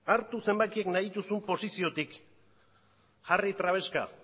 hartu zenbakiak nahi dituzun posiziotik jarri trabeska